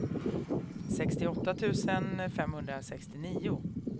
sextioåtta tusen femhundrasextionio